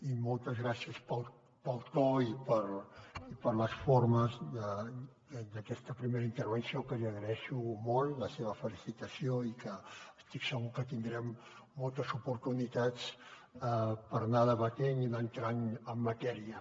i moltes gràcies pel to i per les formes d’aquesta primera intervenció que li agraeixo molt la seva felicitació i que estic segur que tindrem moltes oportunitats per anar debatent i anar entrant en matèria